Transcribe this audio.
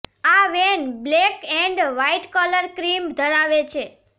આ van black and white colour scheme ધરાવે છે